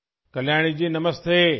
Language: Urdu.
کلیانی جی نمستے